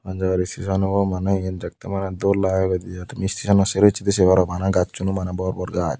hon jagar steson obo mane yen dekte mane dol lageyoide ai tumi stesonan sero pichchedi sei paro bana gacchuno bor bor gach.